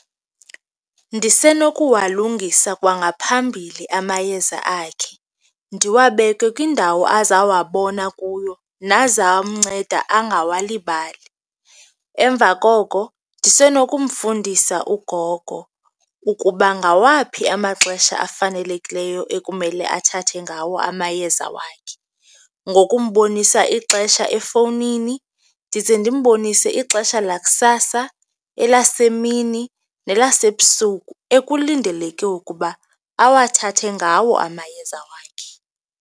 Ndisenokuwalungisa kwangaphambili amayeza akhe, ndiwabeke kwindawo azawabona kuyo nazawumnceda angawulibali. Emva koko ndisenokumfundisa ugogo ukuba ngawaphi amaxesha afanelekileyo ekumele athathe ngawo amayeza wakhe, ngokumbonisa ixesha efowunini ndize ndimbonise ixesha lakusasa, elasemini nelasebusuku ekulindeleke ukuba awathathe ngawo amayeza wakhe.